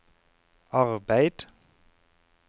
arbeid